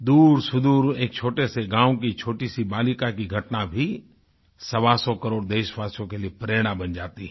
दूरसुदूर एक छोटे से गाँव की छोटी सी बालिका की घटना भी सवासौ करोड़ देशवासियों के लिए प्रेरणा बन जाती है